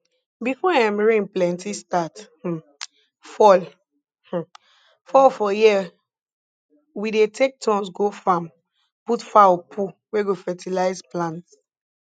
before um rain plenty start um fall um fall for year we dey take turns go farm put fowl poo wey go fertize plants